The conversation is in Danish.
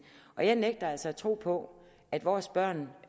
og jeg nægter altså at tro på at vores børn